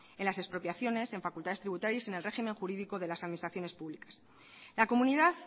en las expropiaciones en facultades tributarias y en el régimen jurídico de las administraciones públicas la comunidad